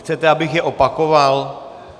Chcete, abych je opakoval?